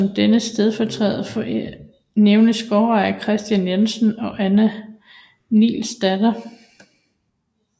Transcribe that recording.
Som dens stamforældre nævnes gårdfæster Christen Jensen og Anna Nielsdatter